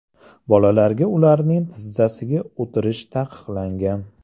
Bolalarga ularning tizzasiga o‘tirish taqiqlangan .